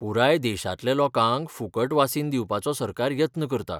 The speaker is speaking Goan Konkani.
पुराय देशांतल्या लोकांक फुकट वासीन दिवपाचो सरकार यत्न करता.